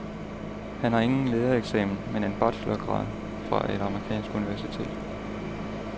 Han har ingen lærereksamen, men en bachelorgrad fra et amerikansk universitet.